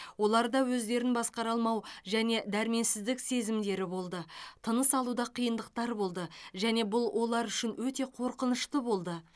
оларда өздерін басқара алмау және дәрменсіздік сезімдері болды тыныс алуда қиындықтар болды және бұл олар үшін өте қорқынышты болды